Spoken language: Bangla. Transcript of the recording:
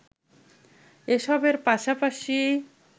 এসবের পাশাপাশি